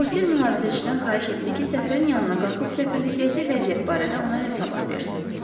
Bosir mühafizəçidən xahiş etdi ki, səfirin yanına qalxıb səfirlikdəki vəziyyət barədə ona hesabat versin.